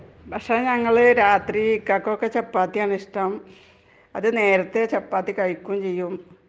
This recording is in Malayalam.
ഭക്ഷണം നമ്മൾ രാത്രി ഇക്കകൊക്കെ രാത്രി ചപ്പാത്തി ആണ് ഇഷ്ടം .അതും നേരത്തെ ചപ്പാത്തി കഴിക്കും ചെയ്യും .